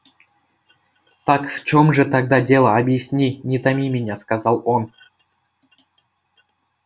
так в чем же тогда дело объясни не томи меня сказал он